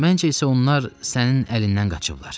Məncə isə onlar sənin əlindən qaçıblar.